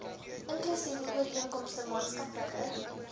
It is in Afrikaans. inklusiewe ooreenkomste maatskaplike